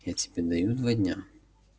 я тебе даю два дня